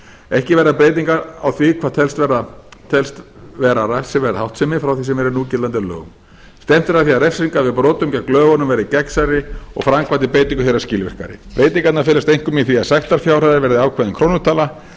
ekki verða breytingar á því hvað telst vera refsiverð háttsemi frá því sem er í núgildandi lögum stefnt er að því að refsingar gegn brotum við lögunum verði gegnsærri og framkvæmd á breytingu þeirra skilvirkari breytingarnar felast einkum í því að sektarákvæði verði ákveðin krónutala en